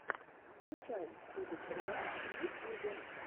включай чудо червя в ютьюбе